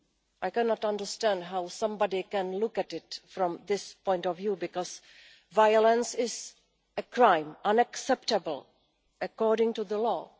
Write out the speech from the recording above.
I cannot understand how somebody can look at it from this point of view because violence is a crime, unacceptable according to the law.